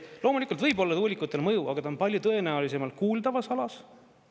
Loomulikult võib-olla tuulikutel mõju, aga ta on palju tõenäolisemalt kuuldavas alas.